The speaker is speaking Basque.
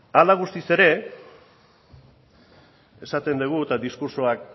hala eta guztiz ere esaten dugu eta diskurtsoak